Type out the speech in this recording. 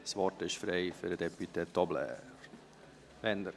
Das Wort ist frei für den député Tobler.